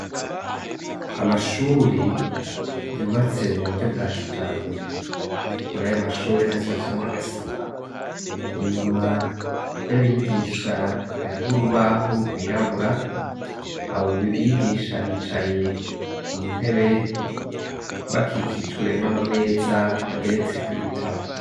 Amashuri yubatse mu buryo bwa kijambere, mur'ayo mashuri hubatsemwo agasima, inyuma y'abigisha hariho urubaho rwirabura, abo bigisha bicaye ku ntebe bakikijwe n'amameza ageretseko ibitabo.